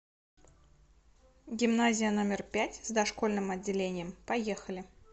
гимназия номер пять с дошкольным отделением поехали